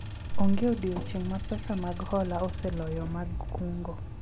onge odiochieng' ma pesa mag hola oseloyo mag kungo